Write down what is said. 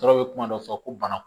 Tɔɔrɔ bɛ kuma dɔ fɔ ko bana